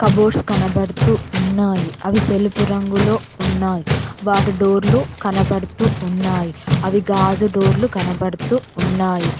Cupboards కనబడుతూ ఉన్నాయి అవి తెలుపు రంగులో ఉన్నాయ్ వాటి డోర్లు కనబడుతూ ఉన్నాయ్ అవి గాజు డోర్లు కనబడుతూ ఉన్నాయి.